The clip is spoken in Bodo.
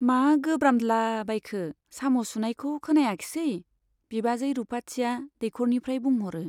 मा गोब्रामदला बायखो ? साम ' सुनायखौ खोनायाखिसै ? बिबाजै रुपाथिया दैख'रनिफ्राय बुंह ' रो।